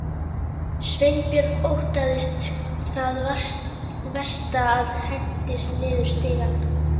Sveinbjörn óttaðist það versta og hentist niður stigann.